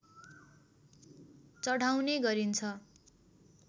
चढाउने गरिन्छ